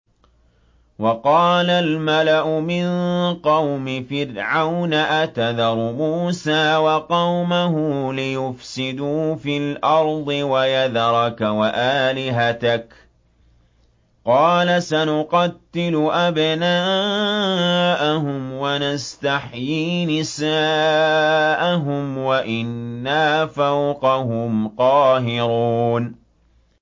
وَقَالَ الْمَلَأُ مِن قَوْمِ فِرْعَوْنَ أَتَذَرُ مُوسَىٰ وَقَوْمَهُ لِيُفْسِدُوا فِي الْأَرْضِ وَيَذَرَكَ وَآلِهَتَكَ ۚ قَالَ سَنُقَتِّلُ أَبْنَاءَهُمْ وَنَسْتَحْيِي نِسَاءَهُمْ وَإِنَّا فَوْقَهُمْ قَاهِرُونَ